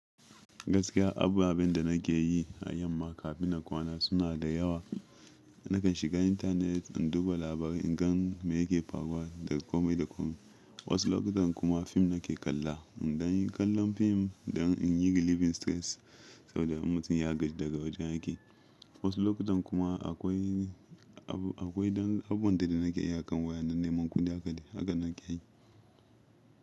Gaskiya abubuwan da nake yi a yamma kafin in kwana suna da yawa. Nakan shiga intanet in duba labarai in gan me yake faruwa daga komai da komai. Wasu lokutan kuma fim nake kalla. In danya kallon film dan in yi relieving stress saboda mutum ya gaj daga wajen aiki. Wasu lokutan kuma akwai, akwai abun da nake iya kan waya na neman kudi haka nake yi.